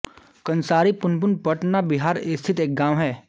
कन्सारी पुनपुन पटना बिहार स्थित एक गाँव है